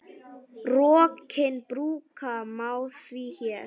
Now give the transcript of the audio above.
Rokkinn brúka má því hér.